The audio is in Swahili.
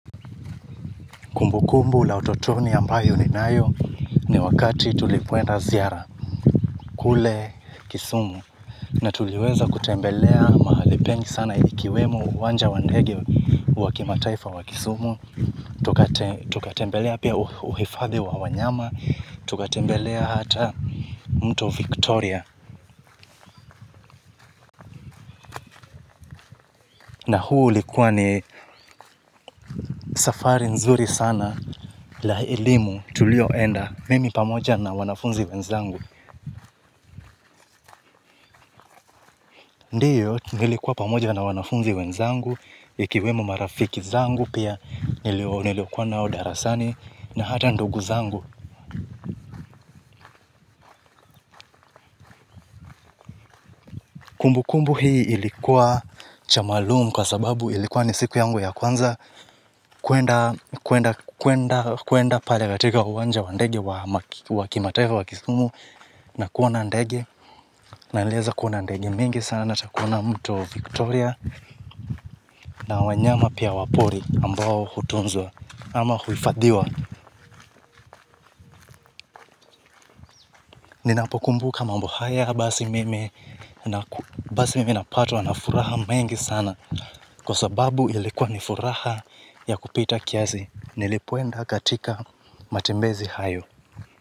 Kumbu kumbu la utotoni ambayo ni nayo ni wakati tulikwenda ziara. Kule kisumu. Na tuliweza kutembelea mahali pengi sana ilikiwemo uwanja wa ndege wa kimataifa wa kisumu. Tukatembelea pia uhifadhi wa wanyama. Tukatembelea hata mto Victoria. Na huo ulikua ni safari nzuri sana. La elimu tulioenda. Mimi pamoja na wanafunzi wenzangu. Ndiyo, nilikuwa pamoja na wanafunzi wenzangu, ikiwemo marafiki zangu pia, nilikuwa nao darasani, na hata ndugu zangu. Kumbu kumbu hii ilikuwa cha maalumu kwa sababu ilikuwa ni siku yangu ya kwanza, kuenda pale katika uwanja wa ndege wa kimataifa wa kisumu, na kuona ndege, na nilieza kuona ndege mingi sana na takuona mto Victoria, na wanyama pia wapori ambao hutunzwa. Ama huifadhiwa ninapokumbuka mambo haya basi mimi basi mimi napatwa nafuraha mengi sana kwa sababu ilikuwa nifuraha ya kupita kiasi nilipoenda katika matembezi hayo.